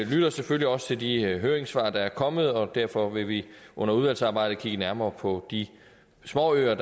lytter selvfølgelig også til de høringssvar der er kommet og derfor vil vi under udvalgsarbejdet kigge nærmere på de småøer